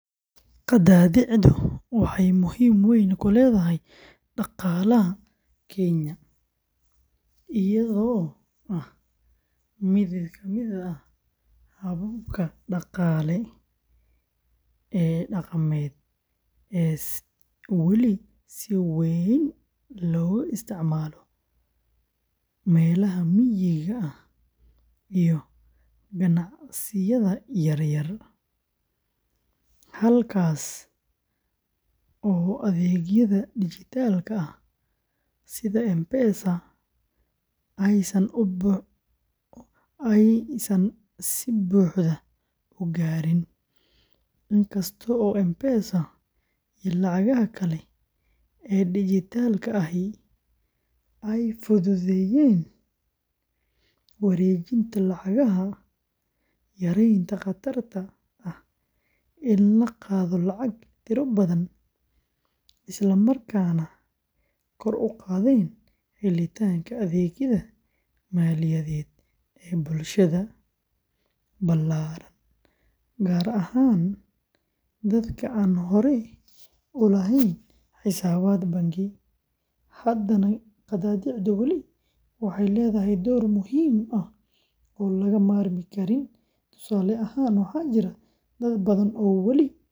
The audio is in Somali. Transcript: Qadaadiicdu waxay muhiimad weyn ku leedahay dhaqaalaha Kenya iyadoo ah mid kamid ah hababka dhaqaalaha ee dhaqameed ee weli si weyn looga isticmaalo meelaha miyiga ah iyo ganacsiyada yaryar, halkaas oo adeegyada dijitaalka ah sida M-Pesa aysan si buuxda u gaarin. Inkasta oo M-Pesa iyo lacagaha kale ee dijitaalka ahi ay fududeeyeen wareejinta lacagaha, yareeyeen khatarta ah in la qaado lacago tiro badan, islamarkaana kor u qaadeen helitaanka adeegyada maaliyadeed ee bulshada ballaaran gaar ahaan dadka aan hore u lahayn xisaabaad bangi, haddana qadaadiicdu weli waxay leedahay door muhiim ah oo laga maarmi karin. Tusaale ahaan, waxaa jira dad badan oo wali aan isticmaali karin.